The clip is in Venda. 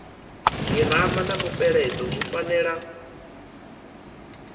girama na mupeleto zwi fanela